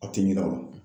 Aw tɛ ɲin'a kɔ